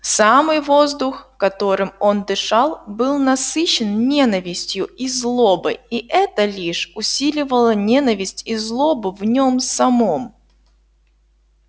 самый воздух которым он дышал был насыщен ненавистью и злобой и это лишь усиливало ненависть и злобу в нём самом